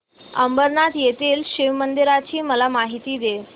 अंबरनाथ येथील शिवमंदिराची मला माहिती दे